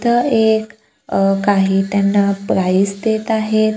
इथं एक अह काही त्यांना प्राइझ देत आहेत.